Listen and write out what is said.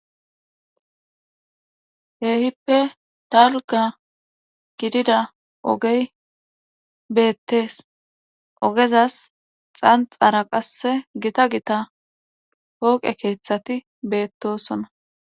Keehippe dalgga gidida ogey beetes ogezas xanxxara qasse gita gita pooqe keethati beettoosona.